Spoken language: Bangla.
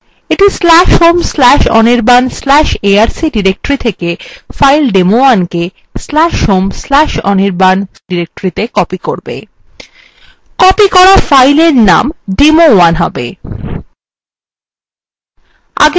এইটি/home/anirban/arc/directory থেকে file demo1/home/anirban/arc/ডিরেক্টরিত়ে copy করবে copy করা fileএর name demo1 হবে